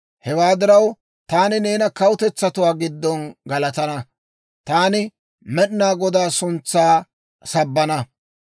Hewaa diraw, taani neena kawutetsatuwaa giddon galatana; taani Med'inaa Godaa suntsaa sabbana.